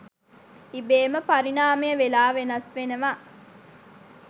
ඉබේම පරිණාමය වෙලා වෙනස් වෙනව